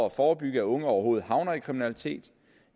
at forebygge at unge overhovedet havner i kriminalitet